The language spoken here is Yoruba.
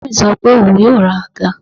Bàbá mi sọ pé òun yóò ra àga